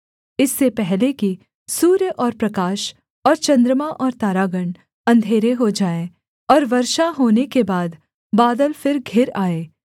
इससे पहले कि सूर्य और प्रकाश और चन्द्रमा और तारागण अंधेरे हो जाएँ और वर्षा होने के बाद बादल फिर घिर आएँ